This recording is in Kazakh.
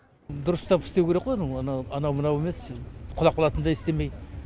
дұрыстап істеу керек қой анау анау мынау емес құлап қалатындай істемей